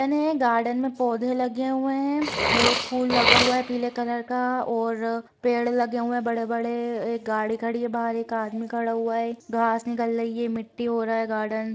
इन्हें गार्डन में पौधे लगे हुए हैं और फूल लगा हुआ है पीले कलर का और पेड़ लगे हुए हैं बड़े-बड़े एक गाड़ी खड़ी है बाहर एक आदमी खड़ा हुआ है। घास निकल रही है। मिट्टी हो रहा है गार्डन ।